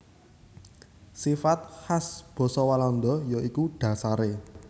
Sifat khas basa Walanda ya iku dhasaré